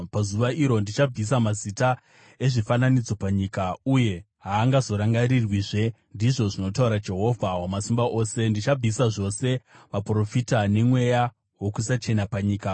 “Pazuva iro, ndichabvisa mazita ezvifananidzo panyika, uye haangazorangarirwizve,” ndizvo zvinotaura Jehovha Wamasimba Ose! “Ndichabvisa zvose vaprofita nemweya wokusachena panyika.